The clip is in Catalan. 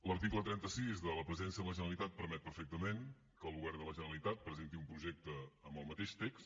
l’article trenta sis de la presidència de la generalitat permet perfectament que el govern de la generalitat presenti un projecte amb el mateix text